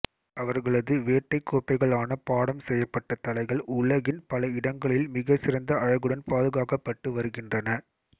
அவர்களது வேட்டை கோப்பைகளான பாடம் செய்யப்பட்ட தலைகள் உலகின் பல இடங்களில் மிகச்சிறந்த அழகுடன் பாதுகாக்கப்பட்டுவருகின்றன